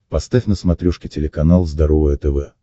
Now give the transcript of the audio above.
поставь на смотрешке телеканал здоровое тв